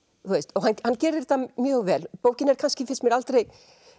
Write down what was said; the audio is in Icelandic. og hann gerir þetta mjög vel bókin er kannski finnst mér aldrei